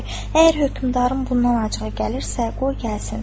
Əgər hökmdarın bundan acığı gəlirsə, qoy gəlsin.